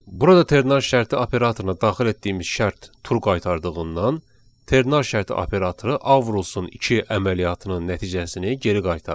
Burada ternar şərti operatoruna daxil etdiyimiz şərt true qaytardığından, ternar şərti operatoru A vurulsun 2 əməliyyatının nəticəsini geri qaytarır.